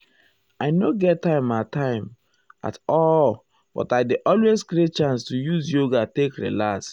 i nor get time at time at all um but i dey always create chance to use yoga um take relax.